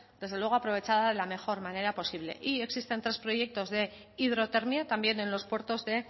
desde luego aprovechada de la mejor manera posible y existen tres proyectos de hidrotermia también en los puertos de